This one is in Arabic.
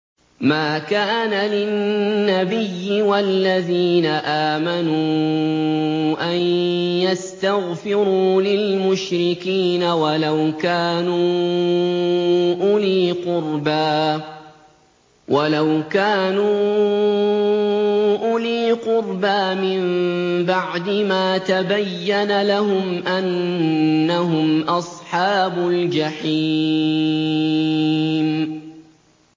مَا كَانَ لِلنَّبِيِّ وَالَّذِينَ آمَنُوا أَن يَسْتَغْفِرُوا لِلْمُشْرِكِينَ وَلَوْ كَانُوا أُولِي قُرْبَىٰ مِن بَعْدِ مَا تَبَيَّنَ لَهُمْ أَنَّهُمْ أَصْحَابُ الْجَحِيمِ